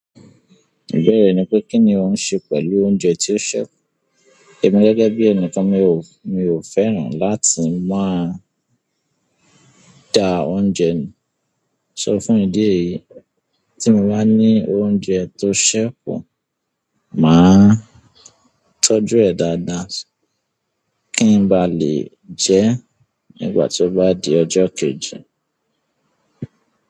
Ìbéèrè ni pé kíni ò ń ṣe pẹ̀lú oúnjẹ tí ó ṣẹ́? Emi gẹ́gẹ́ bí ẹnìkan mi ò, mi ò fẹ́ràn láti máa da oúnjẹ nù. Sọ fún ìdí èyí, tí mo bá ní oúnjẹ tó ṣẹ́ kù, màá tọ́jú ẹ̀ dáadáa kí n ba lè jẹ e nígbà tí ó bá di ọjọ́ kejì.